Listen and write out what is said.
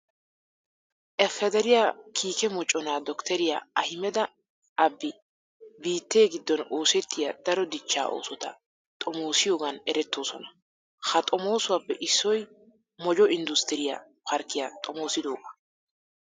Ifederiya kiike moconaa doktteriya ahimeda abiyi biittee giddon oosettiya daro dichchaa oosota xomoosiyogan erettoosona. Ha xomoosuwappe issoy mojo inddustturiya parkkiya xomoosidoogaa.